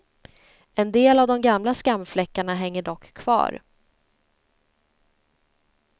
En del av de gamla skamfläckarna hänger dock kvar.